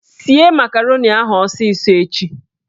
Sie makaroni ahụ ọsịsọ echi!